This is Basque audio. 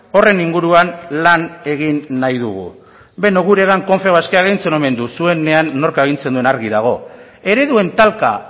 horren inguruan lan egin nahi dugu bueno guregan confebask agintzen omen du zuenean nork agintzen duen argi dago ereduen talka